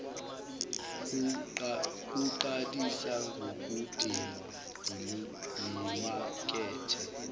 kuqalisa ngokudingwa yimakethe